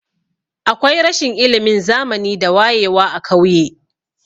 Akwai rashin ilimin zamani da wayewa a kauye.